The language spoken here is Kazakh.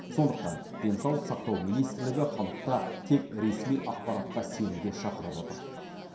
сондықтан денсаулық сақтау министрлігі халықты тек ресми ақпаратқа сенуге шақырып отыр